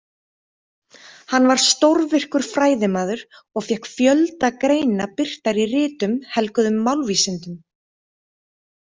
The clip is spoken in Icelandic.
Hann var stórvirkur fræðimaður og fékk fjölda greina birtar í ritum helguðum málvísindum.